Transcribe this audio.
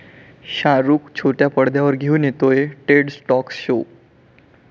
शाहरुख छोट्या पडद्यावर घेऊन येतोय 'टेड टाॅक्स' शो